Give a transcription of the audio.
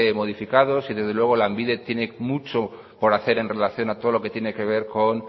modificados y desde luego lanbide tiene mucho por hacer en relación a todo lo que tiene que ver con